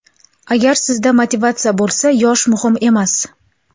Agar sizda motivatsiya bo‘lsa, yosh muhim emas.